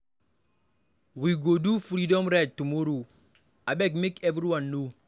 We go do freedom ride tomorrow, abeg make everyone know.